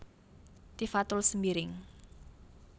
Tifatul Sembiring